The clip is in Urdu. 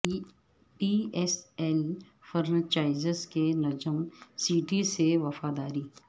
پی ایس ایل فرنچائزز کی نجم سیٹھی سے وفاداری